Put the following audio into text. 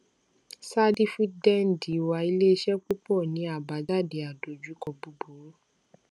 sáà dífídẹǹdì wà ilé iṣẹ púpọ ní àbájáde àdojúkọ búburú